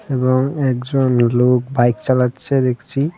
এবং একজন লোক বাইক চালাচ্ছে দেখছি .